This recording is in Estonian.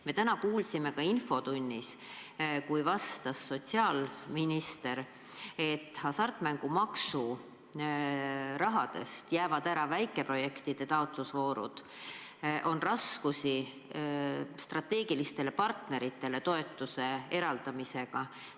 Me täna kuulsime infotunnis, et sotsiaalminister ütles, et hasartmängumaksu raha taotlustest jäävad välja väikeprojektide taotlusvoorud ja on raskusi strateegilistele partneritele toetuse eraldamisega.